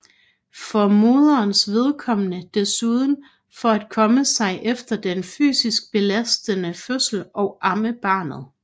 For moderens vedkommende desuden for at komme sig efter den fysisk belastende fødsel og amme barnet